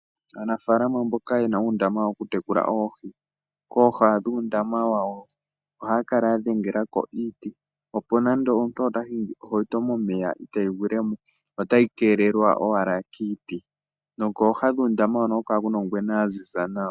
Aanafaalama mboka ye na uundama woku tekula oohi, kooha dhuundama wawo ohaya kala ya dhengelako iiti, opo ngele omuntu ota hingi ohauto momeya itayi gwilemo otayi kelelwa owala kiiti. Kooha dhuundama huno oha ku kala ku na ongwena yaziza nawa.